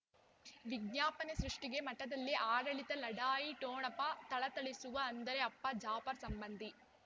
ವಿಜ್ಞಾಪನೆ ಸೃಷ್ಟಿಗೆ ಮಠದಲ್ಲಿ ಆಡಳಿತ ಲಢಾಯಿ ಠೊಣಪ ಥಳಥಳಿಸುವ ಅಂದರೆ ಅಪ್ಪ ಜಾಫರ್ ಸಂಬಂಧಿ